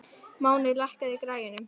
Máney, lækkaðu í græjunum.